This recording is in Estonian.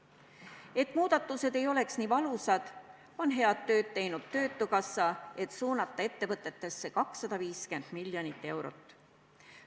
Selleks et muudatused ei oleks nii valusad, on head tööd teinud töötukassa, suunates ettevõtetesse 250 miljonit eurot.